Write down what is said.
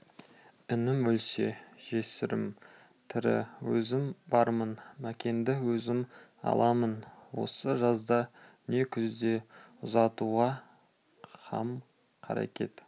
інім өлсе жесірім тірі өзім бармын мәкенді өзім аламын осы жазда не күзде ұзатуға қам-қарекет